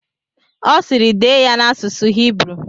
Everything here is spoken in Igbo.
Ọ sịịrị, dee ya n'asụsụ Hibru!